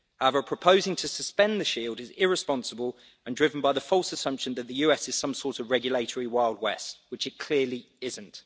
However, proposing to suspend the Shield is irresponsible and driven by the false assumption that the US is some sort of regulatory Wild West, which it clearly isn't.